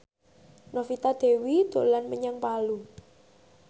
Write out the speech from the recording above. Novita Dewi dolan menyang Palu